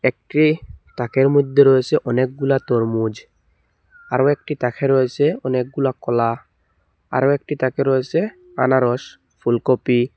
একটি তাকের মইধ্যে রয়েসে অনেকগুলা তরমুজ আরও একটি তাখে রয়েসে অনেকগুলা কলা আরও একটি তাকে রয়েসে আনারস ফুলকপি।